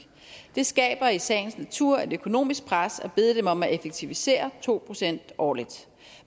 det skaber i sagens natur et økonomisk pres at bede dem om at effektivisere to procent årligt